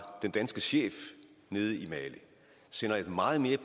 den danske chef nede i mali sender en meget mere